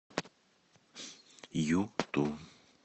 юту